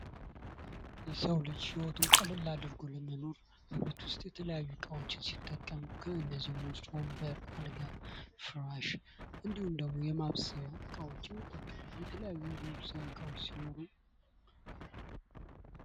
የሰው ልጅ ህይወቱን ቀለል አድርጎ ለመኖር አገርቤት ውስጥ የተለያዩ እቃዎችን ሲጠቀም ከነዚህም ውስጥ ወንበር አልጋ ፍራሽ እንድሁም ደግሞ የማብሰያ እቃዎችን ይጠቀማል የተለያዩ ነገሮች እቃዎች ሲኖሩ።